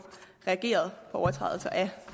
reageret på overtrædelser af